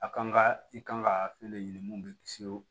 A kan ka i kan ka fɛn de ɲini mun bɛ kisi wo